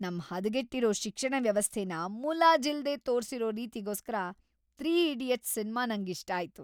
ನಮ್ ಹದಗೆಟ್ಟಿರೋ ಶಿಕ್ಷಣ ವ್ಯವಸ್ಥೆನ ಮುಲಾಜಿಲ್ದೇ ತೋರ್ಸಿರೋ ರೀತಿಗೋಸ್ಕರ "೩ ಈಡಿಯಟ್ಸ್" ಸಿನ್ಮಾ ನಂಗಿಷ್ಟ ಆಯ್ತು.